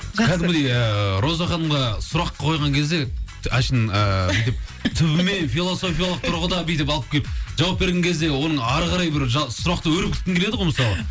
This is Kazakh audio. роза ханымға сұрақ қойған кезде түбіне философиялық тұрғыда бүйтіп алып келіп жауап берген кезде оның әрі қарай бір сұрақты өрбіткің келеді ғой мысалы